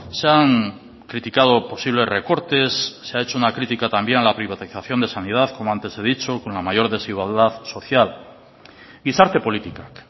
se han criticado posibles recortes se ha hecho una crítica también a la privatización de sanidad como antes he dicho con la mayor desigualdad social gizarte politikak